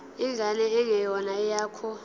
ingane engeyona eyakho